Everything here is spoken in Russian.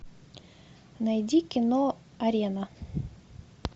найди кино арена